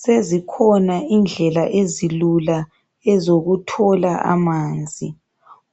Sezikhona indlela ezilula ezokuthola amanzi.